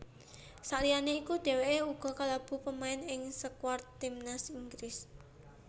Saliyane iku dheweke uga kalebu pamain ing skuad timnas Inggris